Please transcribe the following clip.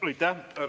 Aitäh!